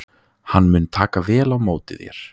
Hann mun taka vel á móti þér.